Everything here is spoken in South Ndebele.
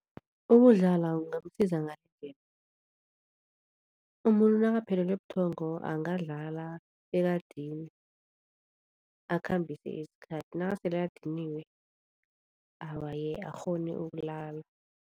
Ukudlala kungakusiza umuntu nakaphelelwe buthongo angadlala bekadinwe, akhambise isikhathi nakasele adiniwe, awa-ke akghone ukulala.